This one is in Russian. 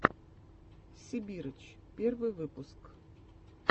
сибирыч первый выпуск